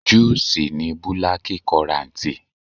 Júù ṣì ní búlákíkorantì.